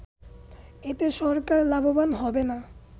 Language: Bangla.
এতে সরকার লাভবান হবে না